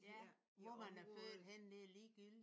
Ja. Hvor man er født henne det er ligegyldigt